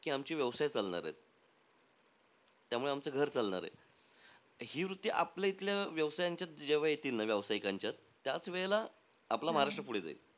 की आमचे व्यवसाय चालणारेत. त्यामुळे आमचं घर चालणारे. ही वृत्ती आपल्या इथल्या व्यवसायांच्यात जेव्हा येतील ना, व्यावसायिकांच्यात, त्याचवेळा आपला महाराष्ट्र पुढे जाईल.